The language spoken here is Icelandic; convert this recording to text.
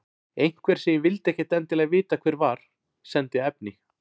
Einhver, sem ég vildi ekkert endilega vita hver var, sendi efni.